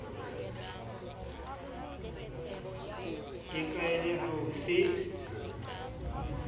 e kaale ha o se